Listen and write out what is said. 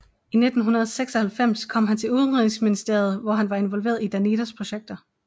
I 1996 kom han til Udenrigsministeriet hvor han var involveret i Danidas projekter